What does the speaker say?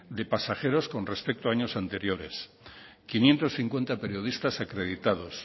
de pasajeros con respecto a años anteriores quinientos cincuenta periodistas acreditados